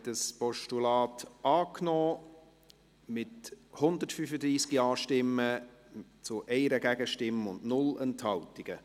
Sie haben das Postulat angenommen, mit 135 Ja-Stimmen gegen 1 Gegenstimme bei 0 Enthaltungen.